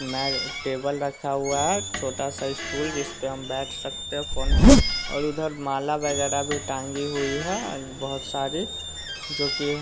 मैं टेबल रखा हुआ है छोटा सा स्टूल जिस पे हम बैठ सकते हैं फोन और उधर माला वगैरा भी टांगी हुई है बहुत सारी जो की--